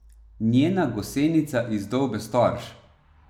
Njena gosenica izdolbe storž.